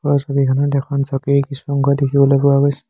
ওপৰৰ ছবিখনত এখন চকীৰ কিছু অংগ দেখিবলৈ পোৱা গৈছে।